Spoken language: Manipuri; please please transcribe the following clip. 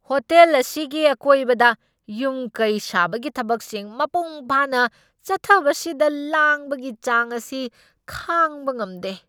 ꯍꯣꯇꯦꯜ ꯑꯁꯤꯒꯤ ꯑꯀꯣꯏꯕꯗ ꯌꯨꯝ ꯀꯩ ꯁꯥꯕꯒꯤ ꯊꯕꯛꯁꯤꯡ ꯃꯄꯨꯡ ꯐꯥꯅ ꯆꯠꯊꯕꯁꯤꯗ ꯂꯥꯡꯕꯒꯤ ꯆꯥꯡ ꯑꯁꯤ ꯈꯥꯡꯕ ꯉꯝꯗꯦ꯫